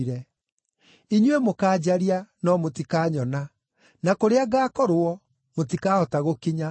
Inyuĩ mũkaanjaria, no mũtikanyona; na kũrĩa ngaakorwo, mũtikahota gũkinya.”